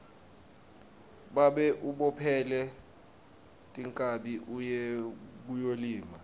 babe ubophele tinkhabi uye kuyolima